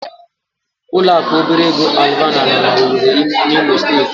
Ụlọaku obere ego Alvana nọ n'Owere n'Imo Steeti.